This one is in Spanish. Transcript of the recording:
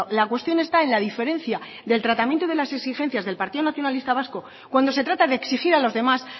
la cuestión está en la diferencia del tratamiento de las exigencias del partido nacionalista vasco cuando se trata de exigir a los demás